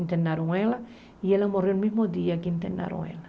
Internaram ela e ela morreu no mesmo dia que internaram ela.